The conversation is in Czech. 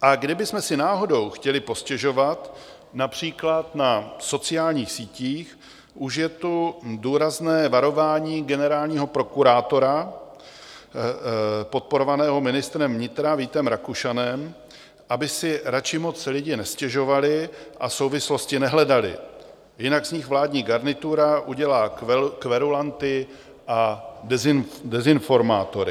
A kdybychom si náhodou chtěli postěžovat například na sociálních sítích, už je tu důrazné varování generálního prokurátora podporovaného ministrem vnitra Vítem Rakušanem, aby si radši moc lidé nestěžovali a souvislosti nehledali, jinak z nich vládní garnitura udělá kverulanty a dezinformátory.